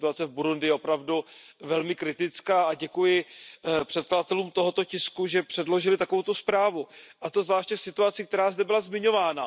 Ta situace v Burundi je opravdu velmi kritická a děkuji předkladatelům tohoto tisku, že předložili takovouto zprávu. A to zvláště v situaci, která zde byla zmiňována.